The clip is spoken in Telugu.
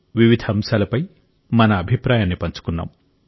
వివిధ అంశాలపై మన అభిప్రాయాన్ని పంచుకున్నాం